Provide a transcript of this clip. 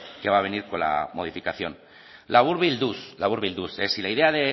que va a venir con la modificación laburbilduz laburbilduz si la idea